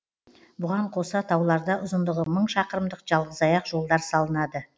бұған қоса тауларда ұзындығы мың шақырымдық жалғызаяқ жолдар салынады